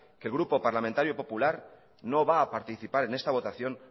que el grupo parlamentario popular no va a participar en esta votación